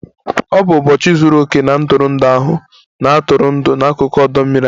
Ọ bụ ụbọchị zuru oke na ntụrụndụ ahụ, na-atụrụ ndụ n'akụkụ ọdọ mmiri ahụ